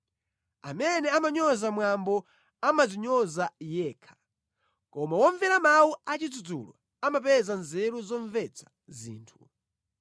Amene amanyoza mwambo amadzinyoza yekha, koma womvera mawu a chidzudzulo amapeza nzeru zomvetsa zinthu.